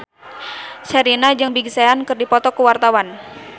Sherina jeung Big Sean keur dipoto ku wartawan